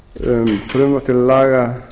um frumvarp til laga